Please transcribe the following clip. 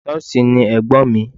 Nọ́ọ̀sì ni Ẹ̀gbọ́n mi.